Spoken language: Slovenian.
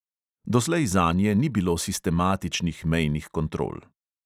Doslej zanje ni bilo sistematičnih mejnih kontrol.